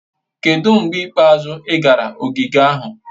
Kedu mgbe ikpeazụ ị gara ogige ahụ?